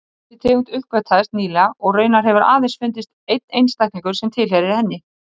Þessi tegund uppgötvaðist nýlega og raunar hefur aðeins fundist einn einstaklingur sem tilheyrir henni.